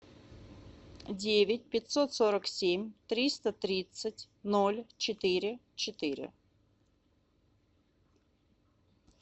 девять пятьсот сорок семь триста тридцать ноль четыре четыре